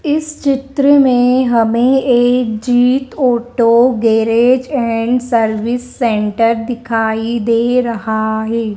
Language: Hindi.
इस चित्र में हमें एक Jeet auto garage and service centre दिखाई दे रहा है।